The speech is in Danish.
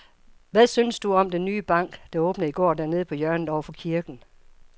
Hvad synes du om den nye bank, der åbnede i går dernede på hjørnet over for kirken?